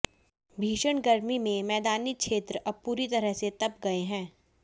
भीषण गर्मी में मैदानी क्षेत्र अब पूरी तरह से तप गए हैं